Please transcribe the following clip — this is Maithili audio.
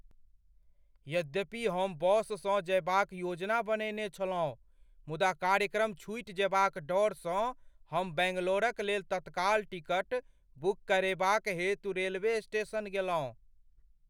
यद्यपि हम बससँ जयबाक योजना बनेने छलहुँ मुदा कार्यक्रम छुटि जयबाक डरसँ हम बैंगलोरक लेल तत्काल टिकट बुक करेबाक हेतु रेलवे स्टेशन गेलहुँ।